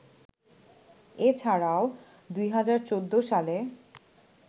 এ ছাড়াও ২০১৪ সালে